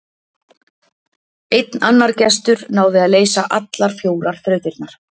Einn annar gestur náði að leysa allar fjórar þrautirnar.